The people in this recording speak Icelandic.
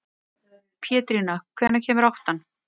Pétrína, hvenær kemur áttan?